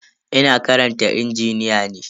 Ina karantar injiniya ne.